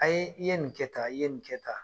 I ye nin kɛ tan, i ye nin kɛ tan